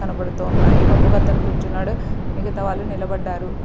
కనబడుతూ ఉన్నాయి. ఒకతను కూర్చొన్నాడు. మిగతా వాళ్ళు నిలబడ్డారు.